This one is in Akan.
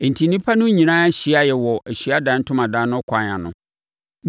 Enti nnipa no nyinaa hyiaeɛ wɔ Ahyiaeɛ Ntomadan no kwan ano.